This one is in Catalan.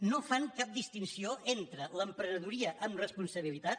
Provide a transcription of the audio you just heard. no fan cap distinció entre l’emprenedoria amb responsabilitat